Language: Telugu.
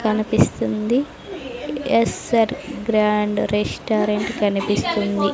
కనిపిస్తుంది ఎస్_ఆర్ గ్రాండ్ రెస్టారెంట్ కనిపిస్తుంది.